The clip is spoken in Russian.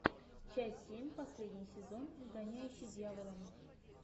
часть семь последний сезон изгоняющий дьявола